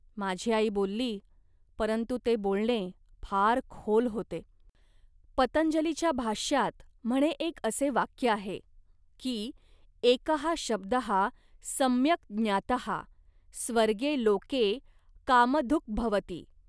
माझी आई बोलली, परंतु ते बोलणे फार खोल होते. पतंजलिच्या भाष्यात, म्हणे एक असे वाक्य आहे, की "एकः शब्दः सम्यक् ज्ञातः स्वर्गे लोके कामधुग्भवति